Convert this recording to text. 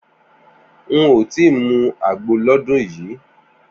N ò tí ì mu àgbo lọ́dún yìí